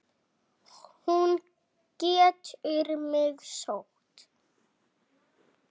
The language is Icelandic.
Hún getur mig sótt.